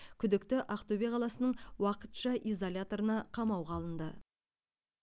күдікті ақтөбе қаласының уақытша изоляторына қамауға алынды